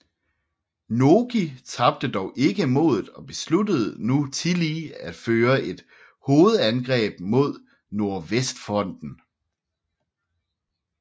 Nogi tabte dog ikke modet og besluttede nu tillige at føre et hovedangreb mod nordvestfronten